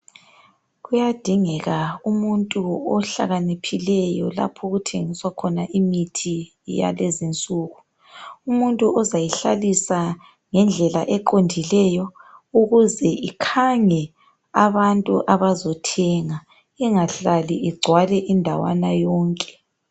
Kuyadingeka umuntu ohlakaniphileyo lapho okuthengiswa khona imithi yalezi insuku. Umuntu ozayihlalisa ngedlela eqondileyo, ukuze ikhange abantu abazothenga. Engahlali igcwale indawana yonke.